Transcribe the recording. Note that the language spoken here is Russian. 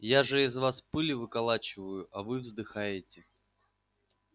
я же из вас пыль выколачиваю а вы вздыхаете